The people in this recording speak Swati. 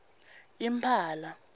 impala